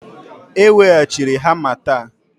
E weghachiri hama taa